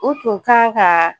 U tun k'an ka